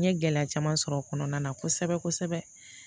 N ye gɛlɛya caman sɔrɔ o kɔnɔna na kosɛbɛ kosɛbɛ